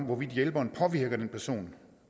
hvorvidt hjælperen påvirker den person